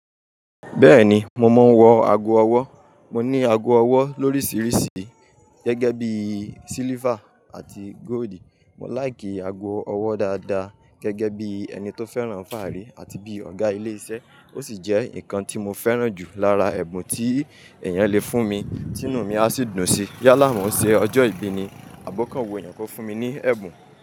Bẹ́ẹ̀ni, mo máa ń wọ ago ọwọ́. Mo ní ago ọwọ́ lórísìíríìsí gẹ́gẹ́ bí silver àti gold. Mò ń láìkì ago ọwọ́ dáadáa gẹ́gẹ́ bí ẹni tó fẹ́ràn fáàrí àti bí ọ̀gá ilé iṣẹ́. Ó sì jẹ́ nǹkan tí mo fẹ́ràn jù lára ẹ̀bùn tí èèyàn lè fún mi tí inú mi á sì dùn sí. Yálà mọ́ n ṣe ọjọ́ ìbí ni àbi okan wu èèyàn kó fún mi ní ẹ̀bùn.